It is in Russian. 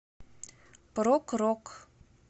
прог рок